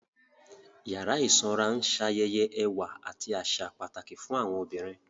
Yàrá ìsanra ń ṣayẹyẹ ẹwà àti àṣà pàtàkì fún àwọn obìnrin